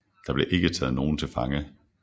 Der blev ikke taget nogen til fange